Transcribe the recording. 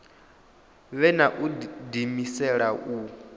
vhe na u diimisela hu